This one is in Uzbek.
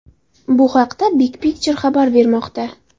Bu haqda Big Picture xabar bermoqda .